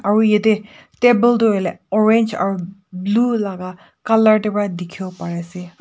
aru ete table tu hoi le orange aru blue laga colour te para dikhi wo pari ase.